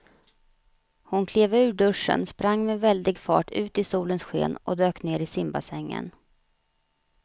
Hon klev ur duschen, sprang med väldig fart ut i solens sken och dök ner i simbassängen.